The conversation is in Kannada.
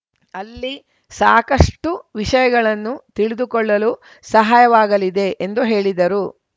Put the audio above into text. ಅಲ್ಲಿ ಸಾಕಷ್ಟುವಿಷಯಗಳನ್ನು ತಿಳಿದುಕೊಳ್ಳಲು ಸಹಾಯವಾಗಲಿದೆ ಎಂದು ಹೇಳಿದರು